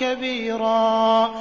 كَبِيرًا